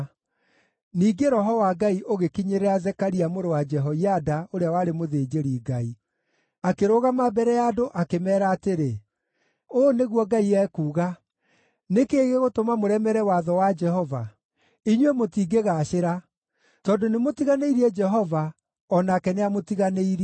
Ningĩ Roho wa Ngai ũgĩkinyĩrĩra Zekaria mũrũ wa Jehoiada ũrĩa warĩ mũthĩnjĩri-Ngai. Akĩrũgama mbere ya andũ akĩmeera atĩrĩ, “Ũũ nĩguo Ngai ekuuga, ‘Nĩ kĩĩ gĩgũtũma mũremere watho wa Jehova? Inyuĩ mũtingĩgaacĩra. Tondũ nĩmũtiganĩirie Jehova, o nake nĩamũtiganĩirie.’ ”